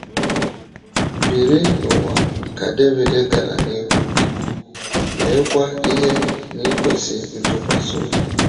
“ Biri n’ụwa, ” ka Devid gara n’ihu ikwu, “ meekwa ihe n’ikwesị ntụkwasị obi. ”